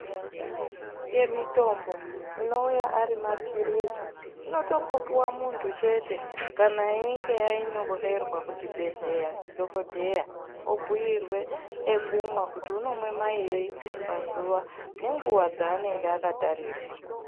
Imweni yemitombo inouya ari maphirizi inotongopuwa muntu chete kana einge anyorerwa kuchibhehleya ndidhogodheya obhuirwe ekumwa kuti unomwe mairi pazuva nenguva dzaanenenge akatarirwa.